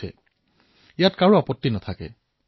কোনেও ইয়াত আপত্তি প্ৰদৰ্শন নকৰে